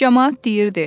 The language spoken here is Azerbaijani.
Camaat deyirdi: